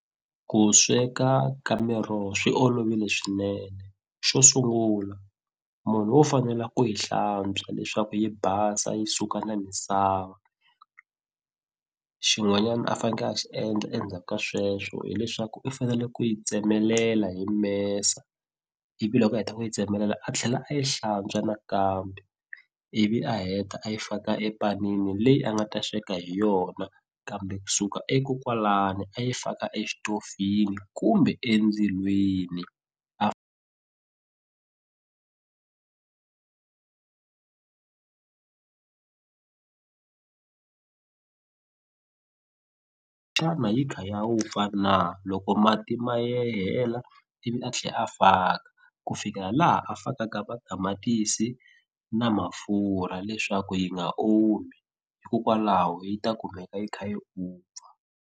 Ku sweka ka miroho swi olovile swinene xo sungula munhu wo fanele ku yi hlantswa leswaku yi basa yi suka na misava xin'wanyana a faneke a xi endla endzhaka sweswo hileswaku i fanele ku yi tsemelela hi mesa ivi loko a heta ku yi tsemelela a tlhela a yi hlantswa nakambe ivi a heta a yi faka epanini leyi a nga ta sweka hi yona kambe kusuka e ko kwalani a yi faka exitofini kumbe endzilweni xana yi kha ya vupfa na loko mati ma ye hela ivi a tlhe a faka ku fikela laha a fakaka matamatisi na mafurha leswaku yi nga omi hikokwalaho yi ta kumeka yi kha yi vupfa.